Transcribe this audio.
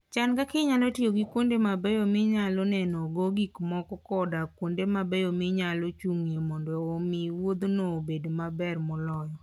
Chan kaka inyalo tiyo gi kuonde mabeyo minyalo nenogo gik moko koda kuonde mabeyo minyalo chung'ie mondo omi wuodhno obed maber moloyo.